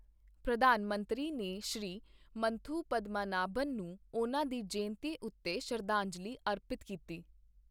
ਪ੍ਰਧਾਨ ਮੰਤਰੀ ਨੇ ਸ਼੍ਰੀ ਮੰਨਥੂ ਪਦਮਾਨਾਭਨ ਨੂੰ ਉਨ੍ਹਾਂ ਦੀ ਜਯੰਤੀ ਉੱਤੇ ਸ਼ਰਧਾਂਜਲੀ ਅਰਪਿਤ ਕੀਤੀ